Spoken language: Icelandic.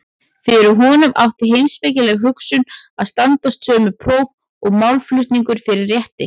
Fyrir honum átti heimspekileg hugsun að standast sömu próf og málflutningur fyrir rétti.